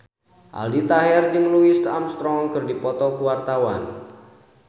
Aldi Taher jeung Louis Armstrong keur dipoto ku wartawan